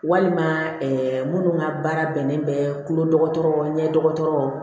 Walima minnu ka baara bɛnnen bɛ tulo dɔgɔtɔrɔ ɲɛ dɔgɔtɔrɔ